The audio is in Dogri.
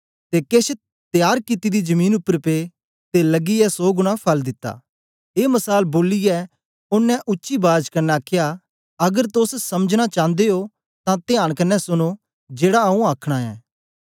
ते केछ त्यार कित्ती दी जमीन उपर पे ते लगियै सौ गुणा फल दित्ता ए मसाल बोलियै ओनें उच्ची बाज कन्ने आखया अगर तोस समझना चांदे ओ तां त्यांन कन्ने सुनो जेड़ा आऊँ आखना ऐं